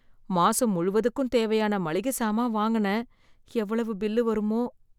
மாசம் முழுவதுக்கும் தேவையான மளிக சாமான் வாங்குன எவ்வளவு பில்லு வருமோ!